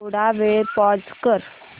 थोडा वेळ पॉझ कर